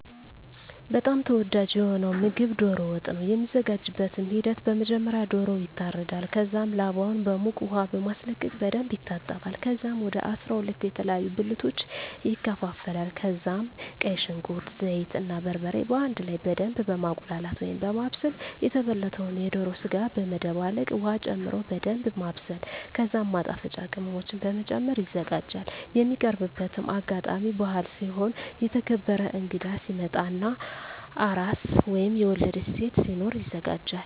በጣም ተወዳጂ የሆነዉ ምግብ ዶሮ ወጥ ነዉ። የሚዘጋጅበትም ሂደት በመጀመሪያ ዶሮዉ ይታረዳል ከዛም ላባዉን በዉቅ ዉሃ በማስለቀቅ በደንብ ይታጠባል ከዛም ወደ 12 የተለያዩ ብልቶች ይከፋፈላል ከዛም ቀይ ሽንኩርት፣ ዘይት እና በርበሬ በአንድ ላይ በደምብ በማቁላላት(በማብሰል) የተበለተዉን የዶሮ ስጋ በመደባለቅ ዉሀ ጨምሮ በደንምብ ማብሰል ከዛም ማጣፈጫ ቅመሞችን በመጨመር ይዘጋጃል። የሚቀርብበትም አጋጣሚ በአል ሲሆን፣ የተከበረ እንግዳ ሲመጣ እና አራስ (የወለደች ሴት) ሲኖር ይዘጋጃል።